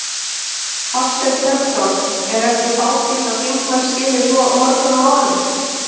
Hafsteinn Hauksson: Er ekki fátítt að þingmenn skili svo mörgum málum?